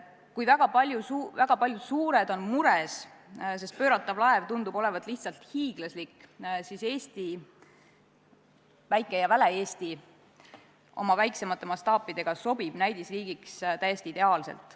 Kui väga paljud suured on mures, sest pööratav laev tundub olevat lihtsalt hiiglaslik, siis Eesti, väike ja väle Eesti oma väiksemate mastaapidega sobib näidisriigiks täiesti ideaalselt.